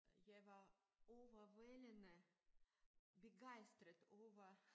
Jeg var overvældende begejstret over